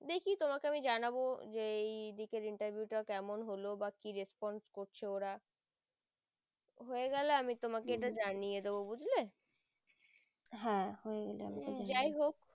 দেখি তোমাকে আমি জানাবো যে এই দিকের interview টা কেমন হলো বা কি response করছে ওরা হয়ে গেলে আমি তোমাকে জানিয়ে দেব বুজলে যাই হোক